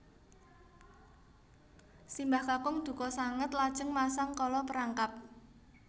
Simbah kakung dukha sanget lajeng masang kala perangkap